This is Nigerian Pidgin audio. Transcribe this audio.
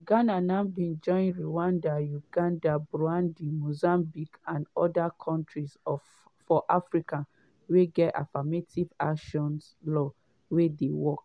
ghana now bin join rwanda uganda burundi mozambique and oda kontris for africa wey gat affirmative action laws wey dey work.